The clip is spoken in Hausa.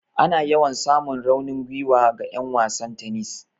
Ana yawan samun raunin gwiwa ga 'yan wasan tennis.